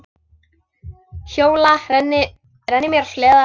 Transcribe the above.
Hjóla, renni mér á sleða.